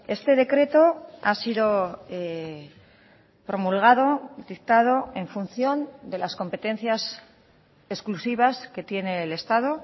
este decreto ha sido promulgado dictado en función de las competencias exclusivas que tiene el estado